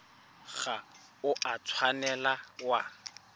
ga o a tshwanela wa